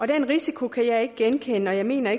den risiko kan jeg ikke genkende og jeg mener